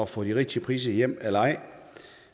få de rigtige priser hjem eller ej